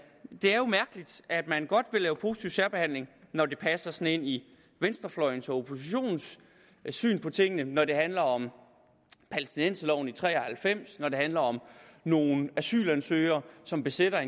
er jo mærkeligt at man godt vil lave positiv særbehandling når det passer ind i venstrefløjens og oppositionens syn på tingene når det handler om palæstinenserloven i nitten tre og halvfems og når det handler om nogle asylansøgere som besætter